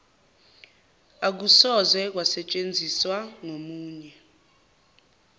akusoze kwasetshenziswa ngomunye